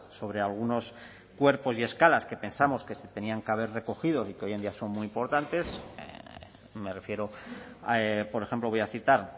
sobre algunos cuerpos y escalas que pensamos que se tenían que haber recogido y que hoy en día son muy importantes me refiero por ejemplo voy a citar